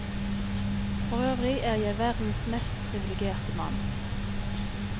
Forøvrig er jeg verdens mest privilegerte mann.